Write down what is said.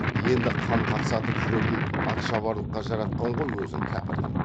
елді қан қақсатып жүретін атшабарлыққа жаратқан ғой өзін кәпірдің